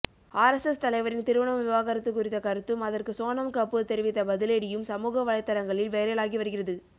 RSS தலைவரின் திருமணம் விவாகரத்து குறித்த கருத்தும் அதற்கு சோனம் கபூர் தெரிவித்த பதிலடியும் சமூக வலைதளங்களில் வைரலாகி வருகிறது